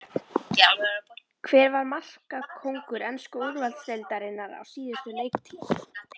Hver var markakóngur ensku úrvalsdeildarinnar á síðustu leiktíð?